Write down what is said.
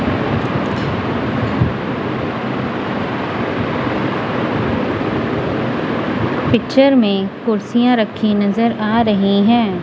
Picture में कुर्सियां रखी नजर आ रही है।